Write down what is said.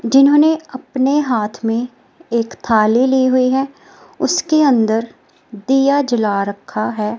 जिन्होंने अपने हाथ में एक थाली ली हुई है उसके अंदर दिया जला रखा है।